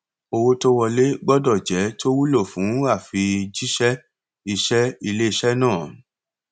owó tó wọlé gbọdọ jẹ tó wúlò fún àfijẹṣẹ iṣẹ iléiṣẹ náà